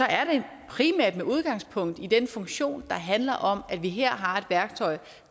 er det primært med udgangspunkt i den funktion der handler om at vi her har et værktøj